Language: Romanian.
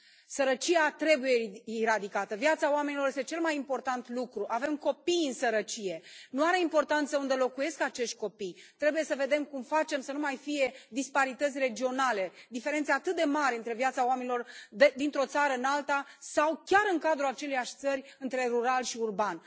Sărăcia trebuie eradicată, viața oamenilor este cel mai important lucru, avem copii în sărăcie, nu are importanță unde locuiesc acești copii, trebuie să vedem cum facem să nu mai fie disparități regionale, diferențe atât de mari între viața oamenilor dintr o țară în alta sau chiar în cadrul aceleiași țări între rural și urban.